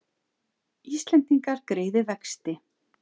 Íslendingar greiði vexti